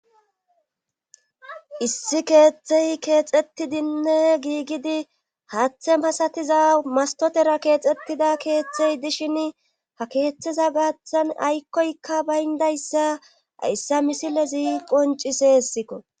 issi keeththey keexettidinne giigidi hathe pasatiza mastotera keexxettida keeththey dishin ha keeththeza gaaththan aykkoykka bayndayssa ayssa misile zii qonci seessikko